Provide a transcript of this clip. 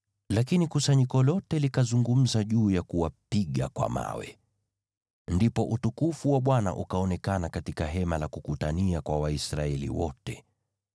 Lakini kusanyiko lote likazungumza juu ya kuwapiga kwa mawe. Ndipo utukufu wa Bwana ukaonekana katika Hema la Kukutania kwa Waisraeli wote.